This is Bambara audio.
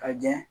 Ka jɛn